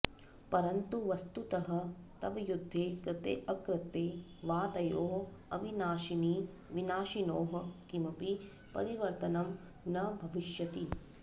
परन्तु वस्तुतः तव युद्धे कृतेऽकृते वा तयोः अविनाशिविनाशिनोः किमपि परिवर्तनं न भविष्यति